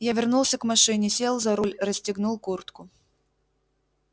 я вернулся к машине сел за руль расстегнул куртку